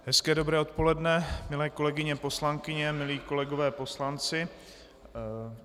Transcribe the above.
Hezké dobré odpoledne, milé kolegyně poslankyně, milí kolegové poslanci.